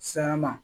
Sayanma